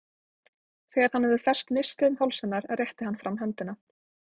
Þegar hann hafði fest nistið um háls hennar, rétti hann fram höndina.